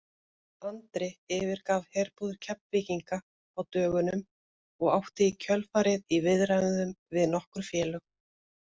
Andri yfirgaf herbúðir Keflvíkinga á dögunum og átti í kjölfarið í viðræðum við nokkur félög.